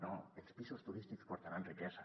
no els pisos turístics portaran riquesa